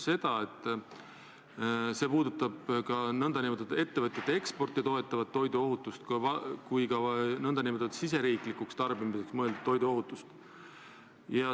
See puudutab nii ettevõtete eksporti toetavat toiduohutust kui ka nn riigisisese tarbimisega seotud toiduohutust.